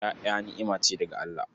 Ƴaƴa ni'ima ce daga Allah.